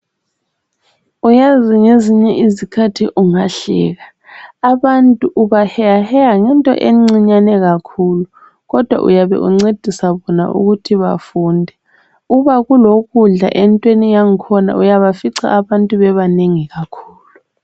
Uyazi ngezinye izikhathi ungahleka. Abantu ubaheyaheya ngento encinyane kakhulu kodwa uyabe uncedisa bona ukuthi bafunde, uba kulokudla entweni yangkhona uyabafica abantu bebanengi kakhulu.